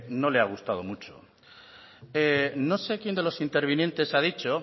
no le ha gustado mucho no sé quién de los intervinientes ha dicho